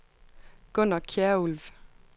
Gunner Kjærulff